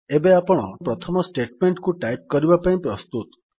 ଏବେ ଆପଣ ନିଜର ପ୍ରଥମ ଷ୍ଟେଟମେଣ୍ଟ୍ କୁ ଟାଇପ୍ କରିବା ପାଇଁ ପ୍ରସ୍ତୁତ